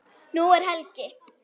Nú er helgi.